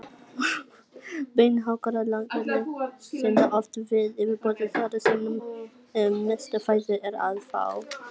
Venjulegur þriggja kílóa kúlufiskur inniheldur nægilegt eitur til að drepa þrjátíu manns